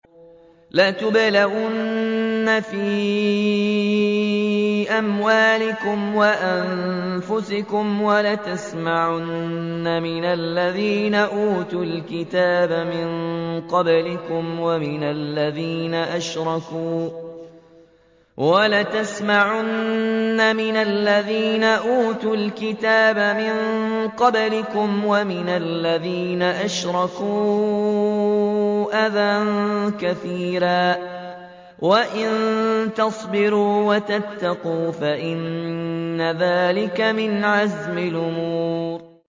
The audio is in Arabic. ۞ لَتُبْلَوُنَّ فِي أَمْوَالِكُمْ وَأَنفُسِكُمْ وَلَتَسْمَعُنَّ مِنَ الَّذِينَ أُوتُوا الْكِتَابَ مِن قَبْلِكُمْ وَمِنَ الَّذِينَ أَشْرَكُوا أَذًى كَثِيرًا ۚ وَإِن تَصْبِرُوا وَتَتَّقُوا فَإِنَّ ذَٰلِكَ مِنْ عَزْمِ الْأُمُورِ